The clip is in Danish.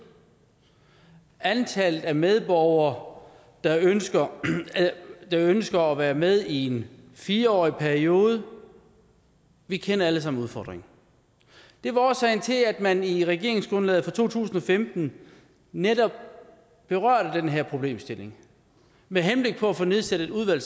antallet af medborgere der ønsker der ønsker at være med i en fire årig periode vi kender alle sammen udfordringen det var årsagen til at man i regeringsgrundlaget fra to tusind og femten netop berørte den her problemstilling med henblik på at få nedsat et udvalg